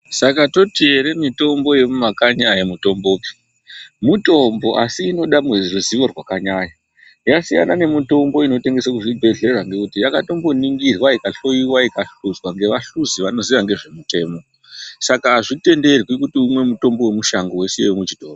Saka toti ere mutombo yemumakanyi ayimutombopi. Mutombo asi inoda muruzivo rwakanyanya. Yasiyana nemutombo inotengeswe kuzvibhedhlera ngekuti, yakatomboningirwa , ikahloiwa ,ikahluzwa, ngevahluzi vanoziya ngezvemitemo. Saka azvitenderwi kuti umwe mutombo wemushango weisiye wemuchitoro.